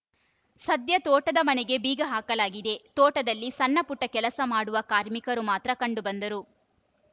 ಸದ್ಯ ತೋಟದ ಮನೆಗೆ ಬೀಗ ಹಾಕಲಾಗಿದೆ ತೋಟದಲ್ಲಿ ಸಣ್ಣಪುಟ್ಟಕೆಲಸ ಮಾಡುವ ಕಾರ್ಮಿಕರು ಮಾತ್ರ ಕಂಡು ಬಂದರು